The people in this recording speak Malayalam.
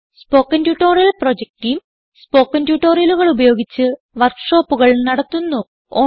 spoken tutorial project team spoken ട്യൂട്ടോറിയലുകൾ ഉപയോഗിച്ച് വർക്ക് ഷോപ്പുകൾ നടത്തുന്നു